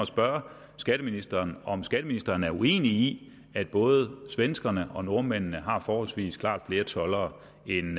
spørge skatteministeren om skatteministeren er uenig i at både svenskerne og nordmændene har forholdsvis klart flere toldere end